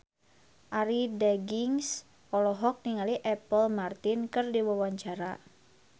Arie Daginks olohok ningali Apple Martin keur diwawancara